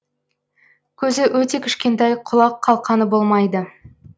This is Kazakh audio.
көзі өте кішкентай құлақ қалқаны болмайды